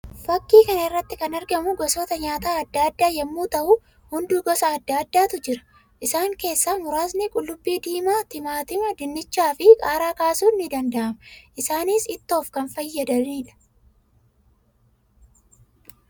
Fakkii kana irratti kan argamu gosoota nyaataa addaa addaa yammuu ta'u; hunduu gosa addaa addaatu jiru. Isaan keessaa muraasni qullubbii diimaa, timaatima, dinnicha fi qaaraa kaasuun ni danda'ama. Isaannis ittoof kan fayyadaniidha.